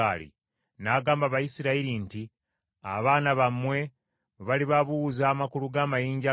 N’agamba Abayisirayiri nti, “Abaana bammwe bwe balibabuuza amakulu g’amayinja gano,